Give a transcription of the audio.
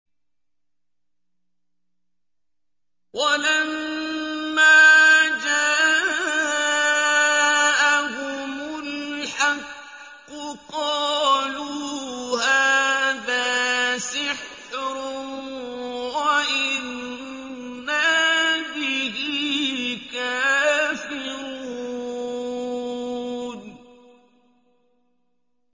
وَلَمَّا جَاءَهُمُ الْحَقُّ قَالُوا هَٰذَا سِحْرٌ وَإِنَّا بِهِ كَافِرُونَ